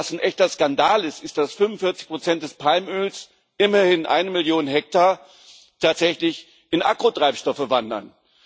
Aber was ein echter Skandal ist, ist dass 45 des Palmöls immerhin eine Million Hektar tatsächlich in Agrotreibstoffe wandern.